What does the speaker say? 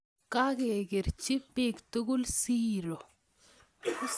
Kakikerchi biik tugul siiro